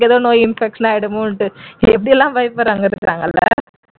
நோய் ஏதோ infection ஆய்ருமோன்ட்டு எப்படி எல்லாம் பயப்படுறவங்க இருக்காங்க இல்ல